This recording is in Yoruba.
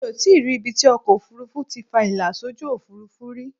Mi ò tíì rí ibi tí ọkọ ofurufu ti fa ìlà sójú Òfurufú rí.